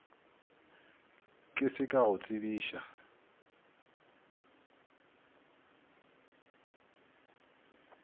ke se ka go tsebiša